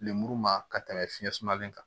Lemuru ma ka tɛmɛ fiɲɛ sumalen kan